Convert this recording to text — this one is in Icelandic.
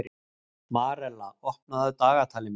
Marella, opnaðu dagatalið mitt.